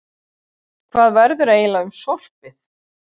Hvað verður eiginlega um sorpið?